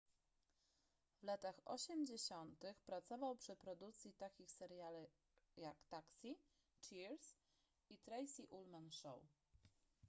w latach osiemdziesiątych pracował przy produkcji takich seriali jak taxi cheers i tracey ullman show